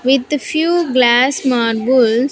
With few glass marbles --